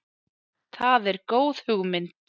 Það er góð hugmynd.